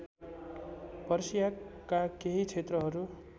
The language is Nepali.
पर्सियाका केही क्षेत्रहरु